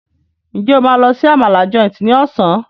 Njé o ma ló sì Àmàlà Joint ní Ọ̀sán?